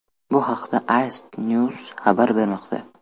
Bu haqda ICTNEWS xabar bermoqda.